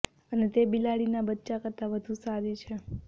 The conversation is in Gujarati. અને તે બે બિલાડીના બચ્ચાં કરતાં વધુ સારી છે